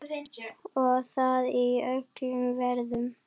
Og það í öllum veðrum.